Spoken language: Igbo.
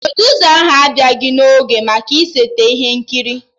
Produsa ahụ abịaghị n'oge maka ịseta ihe nkiri